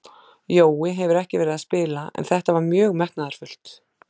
Jói hefur ekki verið að spila en þetta var mjög metnaðarfullt.